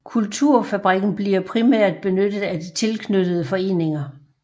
Kulturfabrikken bliver primært benyttet af de tilknyttede foreninger